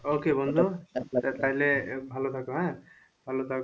okay বন্ধুতাহলে ভালো থাকো,